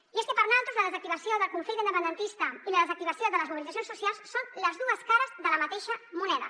i és que per naltros la desactivació del conflicte independentista i la desactivació de les mobilitzacions socials són les dues cares de la mateixa moneda